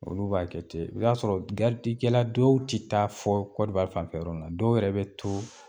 Olu b'a kɛ ten i bɛ taa sɔrɔ garidi kɛla dɔw tɛ taa fɔ kɔdiwari fanfɛ yɔrɔ la dɔw yɛrɛ bɛ to